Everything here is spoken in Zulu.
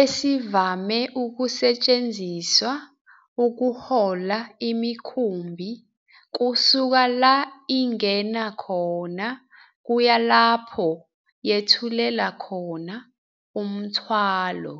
esivame ukusetshenziswa ukuhola imikhumbi kusuka la ingena khona kuya lapho yethulela khona umthwalo.